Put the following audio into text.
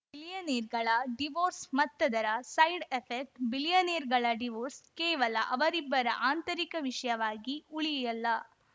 ಬಿಲಿಯನೇರ್‌ಗಳ divorce ಮತ್ತದರ side effect ಬಿಲಿಯನೇರ್‌ಗಳ divorce ಕೇವಲ ಅವರಿಬ್ಬರ ಆಂತರಿಕ ವಿಷಯವಾಗಿ ಉಳಿಯಲ್ಲ